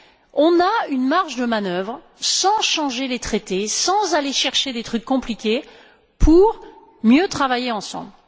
Nous avons une marge de manœuvre sans changer les traités, sans aller chercher des trucs compliqués, pour mieux travailler ensemble.